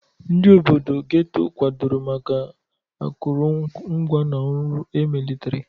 Ndị obodo Getto kwadoro maka akụrụngwa na ọrụ emelitere.